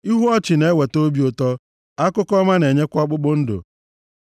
Ihu ọchị na-eweta obi ụtọ. Akụkọ ọma na-enyekwa ọkpụkpụ ndụ.